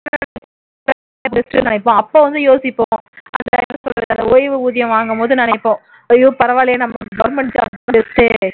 அப்போ வந்து யோசிப்போம் ஓய்வு ஊதியம் வாங்கும்போது நினைப்போம் ஐயோ பரவாயில்லையே நமக்கு government job best